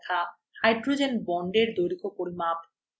hydrogen bondsএর দৈর্ঘ্য পরিমাপ